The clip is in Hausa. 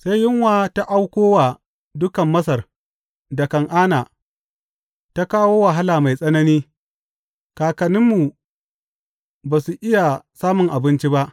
Sai yunwa ta auko wa dukan Masar da Kan’ana, ta kawo wahala mai tsanani, kakanninmu ba su iya samun abinci ba.